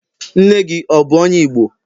nne gi, ọ bu onye igbo?